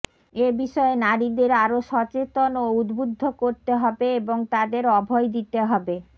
এ বিষয়ে নারীদের আরো সচেতন ও উদ্বুদ্ধ করতে হবে এবং তাদের অভয় দিতে হবে